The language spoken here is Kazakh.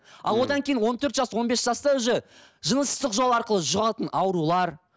ал одан кейін он төрт жас он бес жастан уже жыныстық жол арқылы жұғатын аурулар